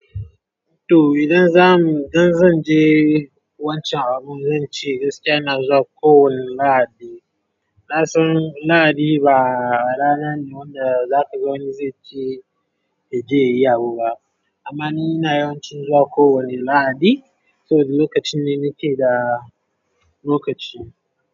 To idan za mu-- dan zan je wancan abun zan ce gaskiya ina zuwa kowane lahadi. Na san lahadi ba rana ne wanda za ka ga wani zai je, ya je yayi abu ba. Amma ni ina yawan cin zuwa kowane lahadi, saboda lokacin ne, nake da lokaci.